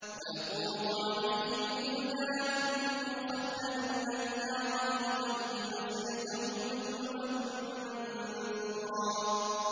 ۞ وَيَطُوفُ عَلَيْهِمْ وِلْدَانٌ مُّخَلَّدُونَ إِذَا رَأَيْتَهُمْ حَسِبْتَهُمْ لُؤْلُؤًا مَّنثُورًا